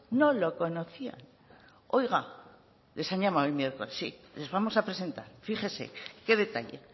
no lo conocían oiga les han llamado el miércoles les vamos a presentar fíjese qué detalle